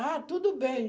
Ah, tudo bem.